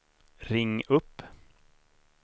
ring upp